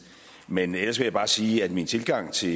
men ellers vil jeg bare sige at min tilgang til